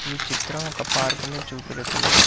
ఈ చిత్రం ఒక పార్క్ ని చూపెడుతుంది.